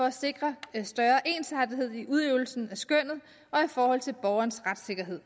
at sikre større ensartethed i udøvelsen af skønnet og i forhold til borgernes retssikkerhed